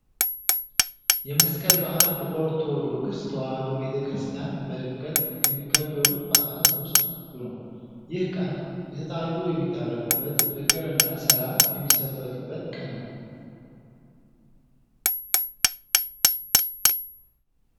የመስቀል በዓል በኦርቶዶክስ ተዋህዶ ቤተክርስቲያን በድምቀት ከሚከበሩት በዓላት ውስጥ አንዱ ነው። ይህ ቀን የተጣሉ የሚታረቁበት ፍቅር እና ሰላም የሚሰበክበት ቀን ነው።